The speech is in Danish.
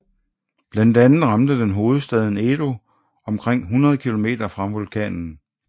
Blandt andet ramte den hovedstaden Edo omkring 100 km fra vulkanen